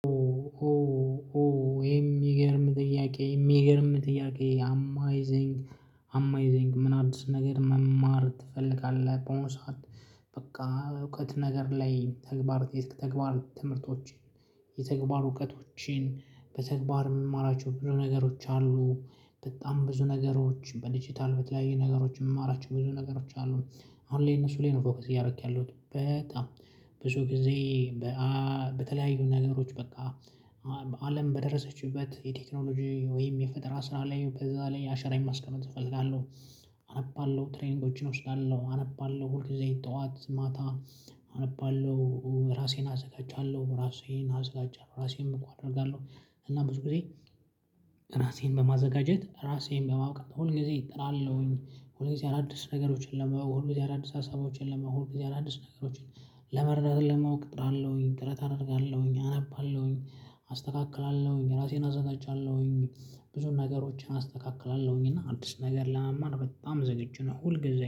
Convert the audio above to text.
ሆ ሆ ሆ የሚገርም ጥያቄ የሚገርም ጥያቄ አማይዚንግ አማይዚንግ ምን አዲስ ነገር መማር ትፈልጋለህ? በሆነ ሰዓት በቃ እውቀት ነገር ላይ ተግባር ተግባር ትምህርቶችን የተግባር እውቀቶችን በተግባር የምማራቸው ብዙ ነገሮች አሉ። በጣም ብዙ ነገሮች በዲጂታል በተለያዩ ነገሮች የምማራቸው ብዙ ነገሮች አሉ። አሁን ላይ እነሱ ላይ ነው ፎከስ እያደረኩ ያሉት በጣም ብዙ ጊዜ በተለያዩ ነገሮች በቃ አለም በደረሰችበት የቴክኖሎጂ ወይም የፈጠራ ስራ ላይ በዛ ላይ አሻራየን ማስቀመጥ እፈልጋለሁ። አነባለሁ ትሬኒንጎችን እወስዳለሁ አነባለሁ ሁል ጊዜ ጠዋት ማታ አነባለሁ ራሴን አዘጋጃለሁ ራሴን አዘጋጃለሁ ራሴንም እኮ አደርጋለሁ። እና ብዙ ጊዜ ራሴን በማዘጋጀት ራሴን በማወቅ ሁል ጊዜ እጥራለሁኝ። ሁል ጊዜ አዳዲስ ነገሮችን ለመሆን ሁል ጊዜ አዳዲስ ሀሳቦችን ለመሆን ጊዜ አዳዲስ ነገሮችን ለመረዳት ለመውቅ እጥራለሁኝ ጥረት አደርጋለሁኝ አነባለሁኝ አስተካክላለሁኝ ራሴን አዘጋጃለሁኝ። ብዙ ነገሮችን አስተካክላለሁኝ እና አዲስ ነገር ለመማር በጣም ዝግጁ ነው ሁል ጊዜ